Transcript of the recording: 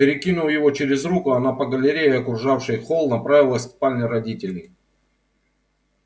перекинув его через руку она по галерее окружавшей холл направилась к спальне родителей